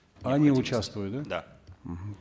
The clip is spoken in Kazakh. они участвуют да да мхм